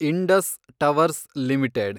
Indus Towers limited